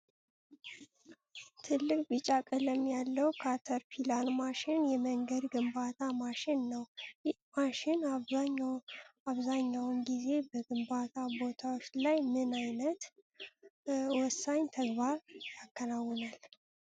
ትልቅ ቢጫ ቀለም ያለው ካተርፒላር ማሽን የመንገድ ግንባታ ማሽን ነው። ይህ ማሽን አብዛኛውን ጊዜ በግንባታ ቦታዎች ላይ ምን አይነት ወሳኝ ተግባር ያከናውናል?